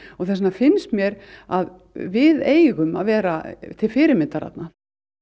þess vegna finnst mér að við eigum að vera til fyrirmyndar þarna